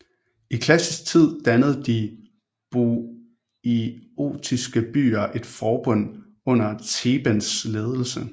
I klassisk tid dannede de boiotiske byer et forbund under Thebens ledelse